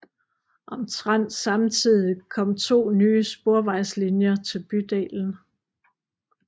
Omtrent samtidig kom to nye sporvejslinjer til bydelen